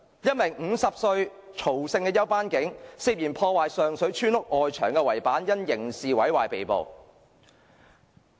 一名50歲曹姓休班警員，涉嫌破壞上水村屋外牆圍板，因刑事毀壞被捕。